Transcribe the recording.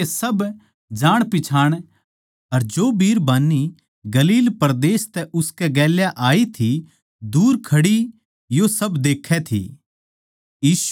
पर उसकै सब जाण पिच्छाण अर जो बिरबान्नी गलील परदेस तै उसकै गेल्या आई थी दूर खड़ी यो सब देक्खै थी